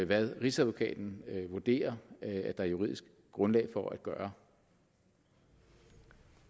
hvad rigsadvokaten vurderer at der er juridisk grundlag for at gøre